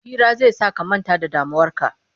Hira zai sa ka manta da damuwarka